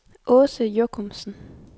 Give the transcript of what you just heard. Aase Jochumsen